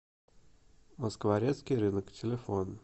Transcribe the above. москворецкий рынок телефон